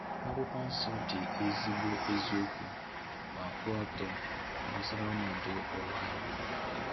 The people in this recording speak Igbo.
Akwụkwọ Nsọ dị ezigbo eziokwu ma kwụọ ọtọ gbasara ọnọdụ ụwa anyị.